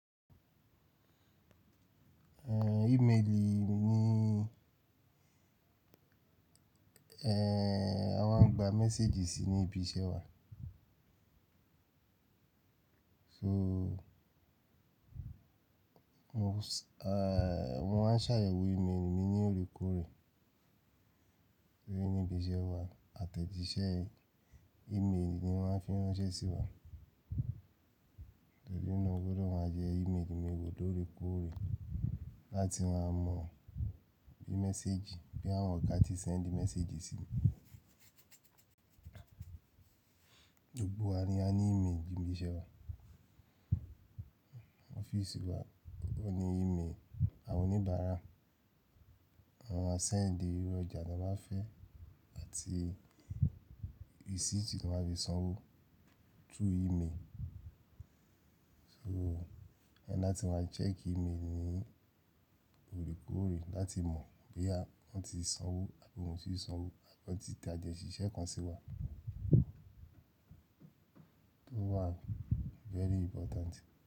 Eh, email ni, eh, a máa ń gba message sí ní ibi iṣẹ́ wa. So, mo ń s-- eh, wọ́n máa ń ṣàyẹ̀wò email mi ní orí kúú rẹ̀ sí ibi iṣẹ́ wa àtẹ̀jíṣẹ́ email ni wọ́n fi ń ránṣẹ́ sí wa. Tẹ̀lé náà gbọdọ̀ wà jẹ́ email mi gbogbo tó orí kúú rẹ̀ láti máa mọ̀ bí message, bí àwọn ọ̀ká ti sẹ́ńdì message sí mi. Gbogbo wa ni a ní email ibi iṣẹ́ wa. Office wa ní email, àwọn oníbàárà, àwọn asẹ́ńdì, irun ọjà tí wọ́n bá fẹ́ àti rí receipt tí wọ́n bá fi sanwó through email. So, ẹ́ láti máa check email ní orí kúú rẹ̀ láti mọ̀ bí àwọn tí sanwó àbí wọn ò tíì sanwó àbí wọn ti tàjẹ̀ ṣiṣẹ́ kan sí wa. To wa very important.